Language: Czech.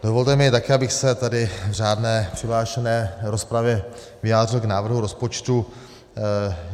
Dovolte mi také, abych se tady v řádné přihlášené rozpravě vyjádřil k návrhu rozpočtu.